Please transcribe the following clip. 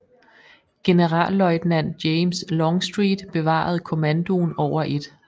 Generalløjtnant James Longstreet bevarede kommandoen over 1